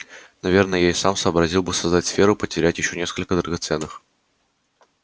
наверное я и сам сообразил бы создать сферу потерять ещё несколько драгоценных